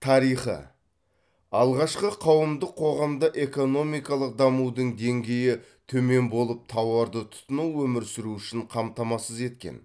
тарихы алғашқы қауымдық қоғамда экономикалық дамудың деңгейі төмен болып тауарды тұтыну өмір сүру үшін қамтамасыз еткен